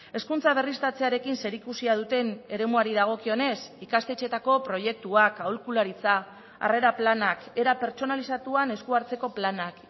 hezkuntza berriztatzearekin zerikusia duten eremuari dagokionez ikastetxeetako proiektuak aholkularitza harrera planak era pertsonalizatuan esku hartzeko planak